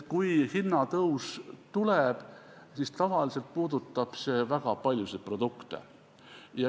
Kui hinnatõus tuleb, siis tavaliselt puudutab see väga paljusid produkte.